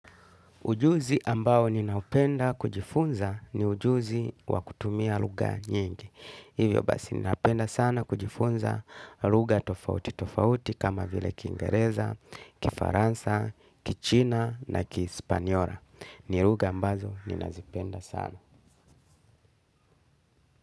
Ujuzi ambao ninayopenda kujifunza ni ujuzi wa kutumia lugha nyingi. Hivyo basi ninapenda sana kujifunza lugha tofauti tofauti kama vile kingereza, kifaransa, kichina na kihispanyola. Ni lugha ambazo ninazipenda sana.